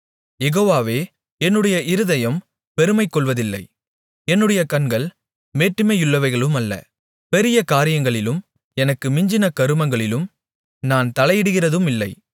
யெகோவாவே என்னுடைய இருதயம் பெருமைகொள்வதில்லை என்னுடைய கண்கள் மேட்டிமையுள்ளவைகளுமல்ல பெரிய காரியங்களிலும் எனக்கு மிஞ்சின கருமங்களிலும் நான் தலையிடுகிறதுமில்லை